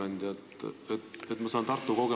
Auväärt ettekandja!